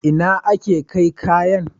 Ina ake kai kayan?